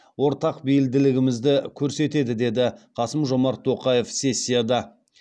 ортақ бейілділігімізді көрсетеді деді қасым жомарт тоқаев сессияда